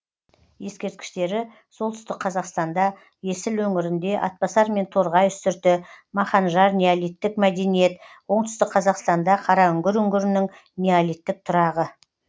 ескерткіштері солтүстік қазақстанда есіл өңірінде атбасар мен торғай үстірті маханжар неолиттік мәдениет оңтүстік қазақстанда қараүңгір үңгірінің неолиттік тұрағы